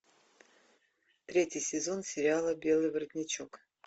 третий сезон сериала белый воротничок